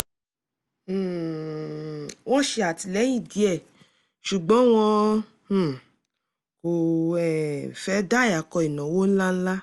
um wọ́n ṣè àtìlẹ́yìn díẹ̀ ṣùgbọ́n wọn um kò um fẹ́ dàyàkọ ìnáwó ńláńlá